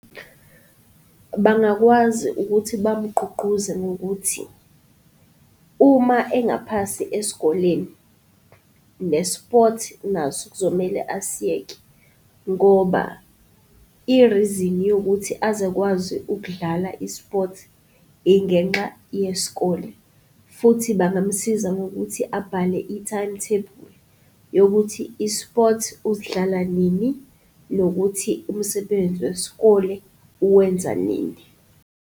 Bangakwazi ukuthi bamugqugquze ngokuthi uma engaphasi esikoleni, ne-sport naso kuzomele asiyeke ngoba i-reason yokuthi aze akwazi ukudlala i-sport ingenxa yesikole. Futhi bangamusiza ngokuthi abhale i-timetable yokuthi i-sport usidlala nini, nokuthi umsebenzi wesikole uwenza nini.